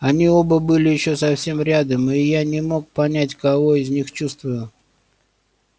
они оба были ещё совсем рядом и я не мог понять кого из них чувствую